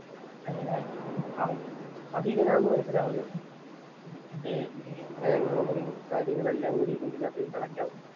അങ്ങനെ അവന്‍ അത് ഇവനാന്നു മനസിലാവുന്നു. ബാങ്ക് റോബറി യും കാര്യങ്ങളും എല്ലാം കൂടി ഇവനകത്ത് കണക്ട് ആകും.